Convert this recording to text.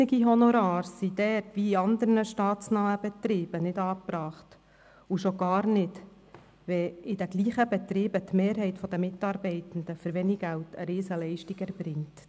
Wie auch in anderen staatsnahen Betrieben sind überrissene Honorare dort nicht angebracht – schon gar nicht, wenn in denselben Betrieben die Mehrheit der Mitarbeitenden für wenig Geld eine Riesenleistung erbringt.